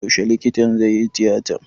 Yaushe likitan zaiyi tiyatar?